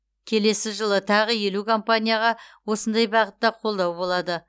келесі жылы тағы елу компанияға осындай бағытта қолдау болады